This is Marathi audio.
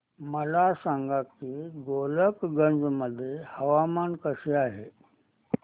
मला सांगा की गोलकगंज मध्ये हवामान कसे आहे